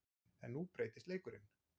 En nú breytist leikurinn.